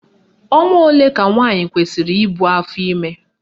Ọnwa ole ka nwaanyị kwesiri ibu afọime?